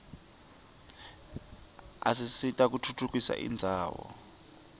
asita kutfutfukisa indzawo